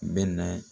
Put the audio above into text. Bɛ na